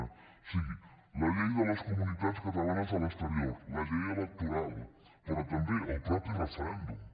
o sigui la llei de les comunitats catalanes a l’exterior la llei electoral però també el mateix referèndum